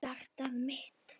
Hjartað mitt,